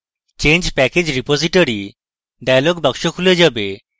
change package repository dialog box খুলে যাবে